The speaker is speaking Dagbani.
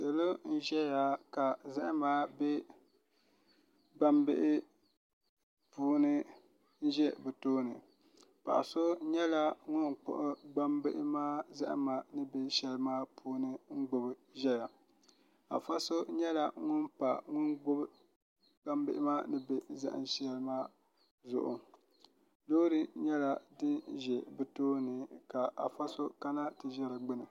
Salo n ʒɛya ka zahama bɛ gbambihi puuni n ʒɛ bi tooni paɣa so nyɛla ŋun kpuɣi gbambihi maa zahama ni bɛ shɛli maa puuni n gbubi ʒɛya afa so nyɛla ŋun pa ŋun gbubi gbambihi maa ni bɛ zaham shɛŋa maa zuɣu loori nyɛla din bɛ bi tooni ka afa so kana ti ʒi di gbuni